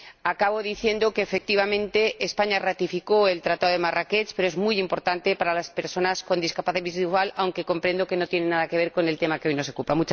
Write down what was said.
Acabo diciendo que, efectivamente, España ratificó el Tratado de Marrakech, que es muy importante para las personas con discapacidad visual, aunque comprendo que no tiene nada que ver con el tema que hoy nos ocupa.